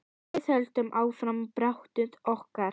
Við höldum áfram baráttu okkar.